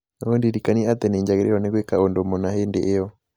ũndirikanie atĩ nĩ njagĩrĩirwo nĩ gwĩka ũndũ mũna hĩndĩ ĩyo